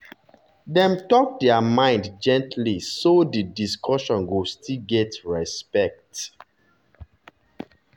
dem talk their mind gently so di discussion go still get respect.